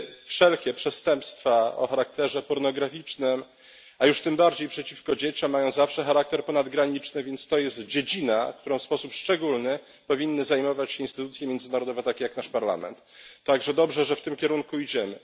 Wszelkie przestępstwa o charakterze pornograficznym, a tym bardziej przeciwko dzieciom, mają zawsze charakter ponadgraniczny, więc jest to dziedzina, którą w sposób szczególny powinny zajmować się instytucje międzynarodowe takie jak nasz Parlament. Dlatego dobrze, że w tym kierunku idziemy.